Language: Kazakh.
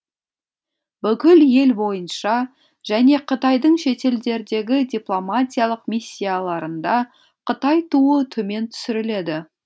бүкіл ел бойынша және қытайдың шетелдердегі дипломатиялық миссияларында қытай туы төмен түсіріледі